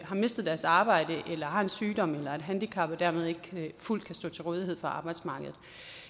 har mistet deres arbejde eller har en sygdom eller et handicap og dermed ikke fuldt kan stå til rådighed for arbejdsmarkedet